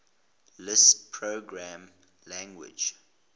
lisp programming language